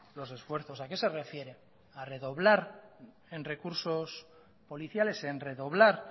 los esfuerzos a qué se refiere a redoblar en recursos policiales en redoblar